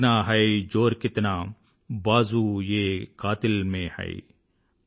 దేఖ్నా హై జోర్ కిత్నా బాజు ఏ కాతిల్ మే హై